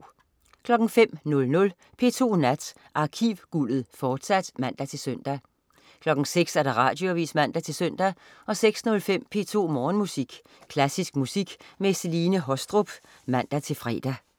05.00 P2 Nat. Arkivguldet, fortsat (man-søn) 06.00 Radioavis (man-søn) 06.05 P2 Morgenmusik. Klassisk musik med Celine Haastrup (man-fre)